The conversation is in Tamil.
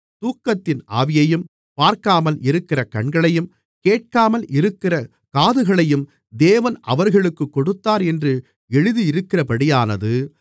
தூக்கத்தின் ஆவியையும் பார்க்காமல் இருக்கிற கண்களையும் கேட்காமல் இருக்கிற காதுகளையும் தேவன் அவர்களுக்குக் கொடுத்தார் என்று எழுதியிருக்கிறபடியானது